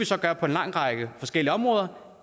så gøre på en lang række forskellige områder